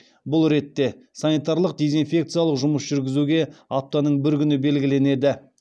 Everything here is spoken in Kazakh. бұл ретте санитарлық дезинфекциялық жұмыс жүргізуге аптаның бір күні белгіленеді